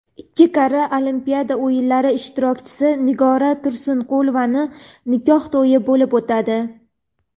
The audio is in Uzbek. ikki karra Olimpiada o‘yinlari ishtirokchisi Nigora Tursunqulovaning nikoh to‘yi bo‘lib o‘tadi.